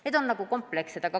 Need oleks nagu komplekssed sammud.